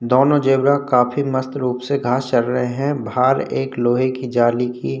दोनों ज़ेब्रा काफी मस्त रूप से घास चर रहे हैं बाहर एक लोहे की जाली की --